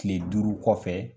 kile duuru kɔfɛ